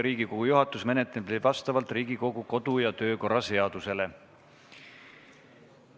Riigikogu juhatus menetleb neid vastavalt Riigikogu kodu- ja töökorra seadusele.